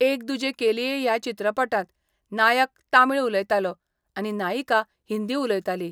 एक दुजे के लिए या चित्रपटात नायक तामिळ उलयतालो आनी नायिका हिंदी उलयताली.